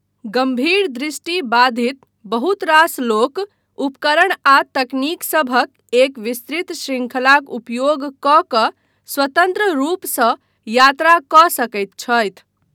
गम्भीर दृष्टि बाधित बहुत रास लोक उपकरण आ तकनीक सभक एक विस्तृत शृंखलाक उपयोग कऽ कऽ स्वतन्त्र रूपसँ यात्रा कऽ सकैत छथि।